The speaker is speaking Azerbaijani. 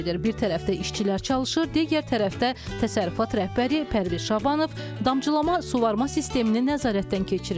Bir tərəfdə işçilər çalışır, digər tərəfdə təsərrüfat rəhbəri Pərviz Şabanov damcılama suvarma sisteminə nəzarətdən keçirir.